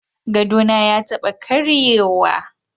Gadona ya taba karyewa.